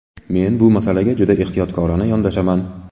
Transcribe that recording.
Men bu masalaga juda ehtiyotkorona yondashaman.